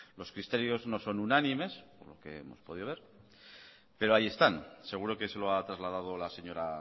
los criterios no son unánimes por lo que hemos podido ver pero ahí están seguro que se lo ha trasladado la señora